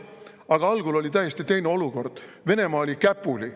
Aga algul oli täiesti teine olukord: Venemaa oli käpuli.